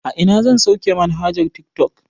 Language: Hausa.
A ina zan sauke manhajar tiktok